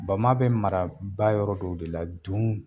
Bama bɛ mara ba yɔrɔ dɔw de la dun